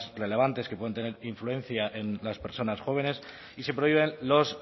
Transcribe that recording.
relevantes que pueden tener influencia en las personas jóvenes y se prohíben los